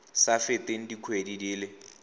sa feteng dikgwedi di le